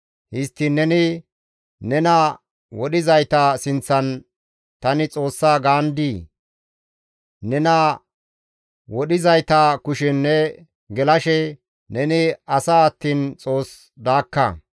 Histtiin neni nena wodhizayta sinththan, ‹Tani xoossa› gaandii? Nena wodhizayta kushen ne gelashe neni asa attiin xoos daakka.